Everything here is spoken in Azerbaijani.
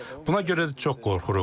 Buna görə də çox qorxuruq.